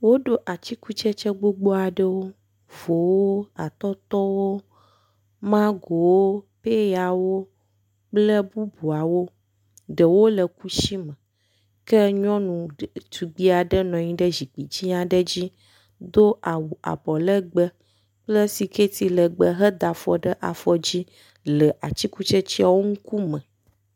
Woɖo atikutsetse gbogbo aɖewo; vowo, atɔtɔwo, magowo, peyawo kple bubuawo. Ɖewo le kusi me ke nyɔnu ɖetugbi aɖe nɔ anyi ɖe zukpui dzi aɖe dzi do awu abɔlegbe kple siketi legbe heda afɔ ɖe afɔ dzi le atikutsetseawo ŋkume.